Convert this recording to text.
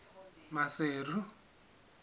maseru